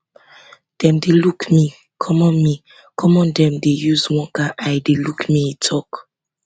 dem dey look me common me common dem dey use one kain eye look me e tok